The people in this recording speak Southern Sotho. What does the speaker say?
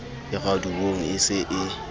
e raduweng e se e